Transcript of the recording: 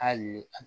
Hali